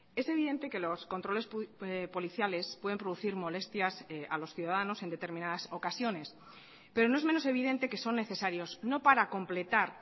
es evidente que los controles policiales pueden producir molestias a los ciudadanos en determinadas ocasiones pero no es menos evidente que son necesarios no para completar